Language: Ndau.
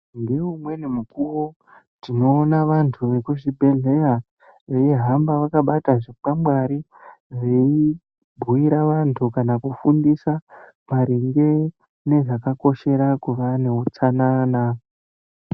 Neumweni mukuwo tinoona vantu vemuzvibhedhlera veihamba vakabata zvikwangwari veibhuira vantu kana kufundisa maringe zvakakoshera vantu kuti vane utsanana.